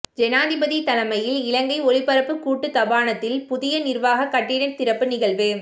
ஜனாதிபதி தலைமையில் இலங்கை ஒலிபரப்பு கூட்டுத்தாபனத்தின் புதிய நிர்வாக கட்டிட திறப்பு நிகழ்வு